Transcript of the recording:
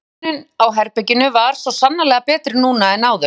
En uppröðunin á herberginu var svo sannarlega betri núna en áður.